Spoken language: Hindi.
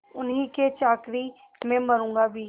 उन्हीं की चाकरी में मरुँगा भी